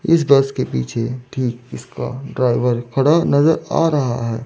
इस बस के पीछे ठीक इसका ड्राइवर खड़ा नजर आ रहा है।